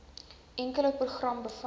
enkele program bevat